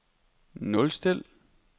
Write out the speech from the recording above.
nulstil